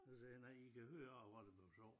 Så siger jeg nej i kan høre af hvad der bliver sagt